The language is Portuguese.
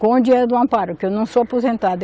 Com o dinheiro do Amparo, que eu não sou aposentada.